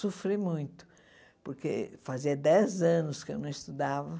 Sofri muito, porque fazia dez anos que eu não estudava.